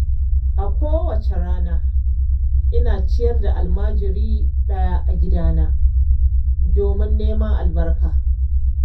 A kowacce rana, ina ciyar da almajiri ɗaya a gidana domin neman albarka.